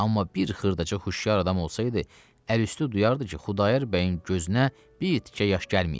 Amma bir xırdaca huşyar adam olsaydı, əl üstü duyardı ki, Xudayar bəyin gözünə bir tikə yaş gəlməyibdi.